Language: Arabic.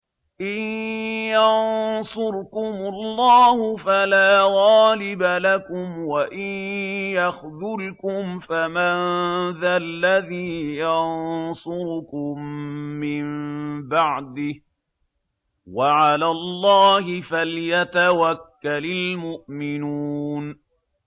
إِن يَنصُرْكُمُ اللَّهُ فَلَا غَالِبَ لَكُمْ ۖ وَإِن يَخْذُلْكُمْ فَمَن ذَا الَّذِي يَنصُرُكُم مِّن بَعْدِهِ ۗ وَعَلَى اللَّهِ فَلْيَتَوَكَّلِ الْمُؤْمِنُونَ